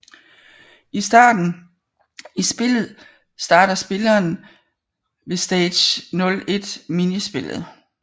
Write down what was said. I spillet starter spilleren ved Stage 01 minispillet